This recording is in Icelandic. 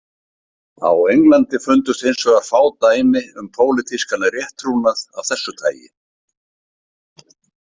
Á Englandi fundust hins vegar fá dæmi um pólitískan rétttrúnað af þessu tagi.